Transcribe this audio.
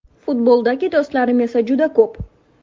Futboldagi do‘stlarim esa juda ko‘p.